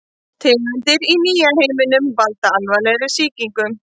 Tegundir í nýja heiminum valda alvarlegri sýkingum.